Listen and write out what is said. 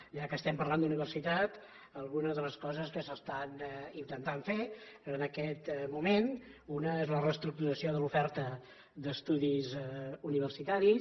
ja que estem parlant d’universitat algunes de les coses que s’estan intentant fer en aquest moment una és la reestructuració de l’oferta d’estudis universitaris